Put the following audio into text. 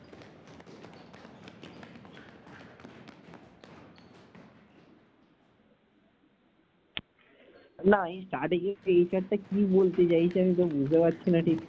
না টারটেক এর HR টা কি বলছে আমি তো বুঝতে পাচ্ছিনা ঠিক।